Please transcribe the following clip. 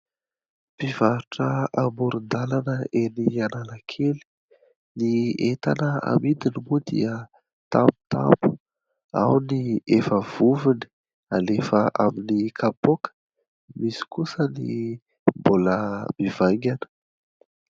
Mpivarotra amoron-dalana eny Analakely : ny entana amidiny moa dia tamotamo. Ao ny efa vovony, alefa amin'ny kapoaka ; misy kosa ny mbola mivaingana.